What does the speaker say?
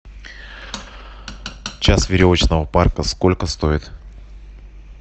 час веревочного парка сколько стоит